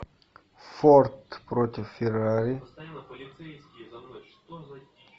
форд против феррари